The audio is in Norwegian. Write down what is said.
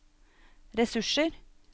ressurser